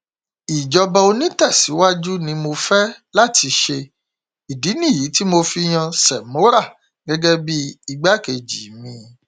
ìjọba onítẹsíwájú ni mo fẹ láti ṣe ìdí nìyí tí mo fi yan shemora gẹgẹ bíi igbákejì mi